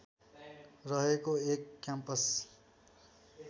रहेको एक क्याम्पस